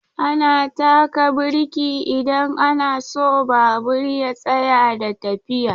Ana taka birki idan ana so babur ya tsaya da tafiya.